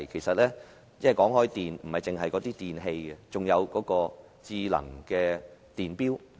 說到電，牽涉的不止是電器，還有智能電錶。